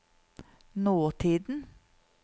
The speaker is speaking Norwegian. nåtiden